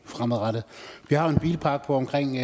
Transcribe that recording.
fremadrettet vi har jo en bilpark på omkring